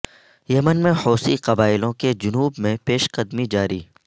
یمن میں حوثی قبائلیوں کی جنوب میں پیش قدمی جاری